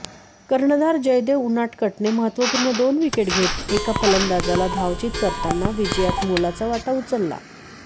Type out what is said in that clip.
कर्णधार जयदेव उनाडकटने महत्त्वपूर्ण दोन विकेट घेत एका फलंदाजाला धावचीत करताना विजयात मोलाचा वाटा उचलला